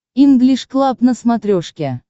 инглиш клаб на смотрешке